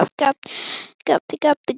Heldurðu að Vigdís hafi ekki farið heim?